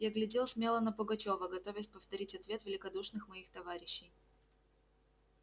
я глядел смело на пугачёва готовясь повторить ответ великодушных моих товарищей